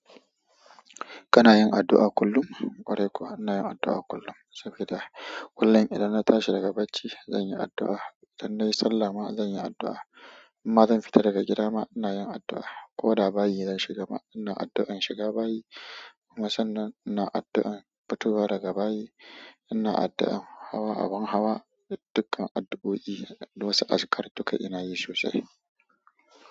Kana yin addu'a kullum? Ƙwarai kuwa ina yin addu'a kullum saboda kullum idan na tashi daga bacci zan yi addu'a, idan na yi sallah ma zan yi addu'a. In ma zan fita daga gida ma ina yin addu'a. Ko da bayi zan shiga ma ina addu'an shiga bayi. Kuma san nan ina addu'an fitowa daga bayi. Ina addua hawa abun hawa duka adduoi da wasu azkar duka inayi sosai.